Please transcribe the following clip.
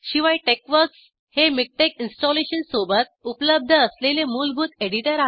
शिवाय टेक्सवर्क्स हे मिकटेक्स इंस्टॉलेशनसोबत उपलब्ध असलेले मुलभूत एडीटर आहे